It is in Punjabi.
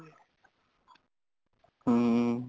ਹਮ